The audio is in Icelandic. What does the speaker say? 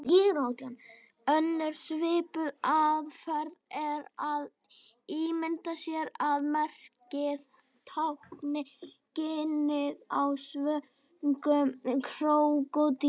Önnur svipuð aðferð er að ímynda sér að merkið tákni ginið á svöngum krókódíl.